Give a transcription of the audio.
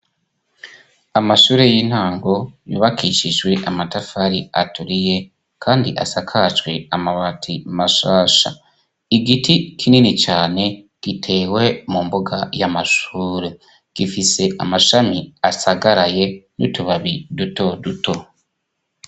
Amashure y'intango yubakishijwe amatafari aturiye kandi asakajwe amabati mashasha. Igiti kinini cane gitewe mu mbuga y'amashure. Gifise amashami asagaraye n'utubabi duto duto.